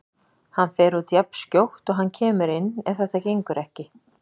Hann fer út jafnskjótt og hann kemur inn ef þetta gengur ekki.